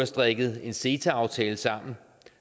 strikket en ceta aftale sammen